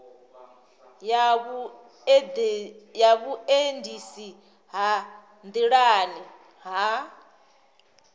ya vhuendisi ha nḓilani ha